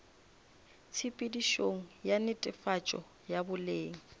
tshepedišong ya netefatšo ya boleng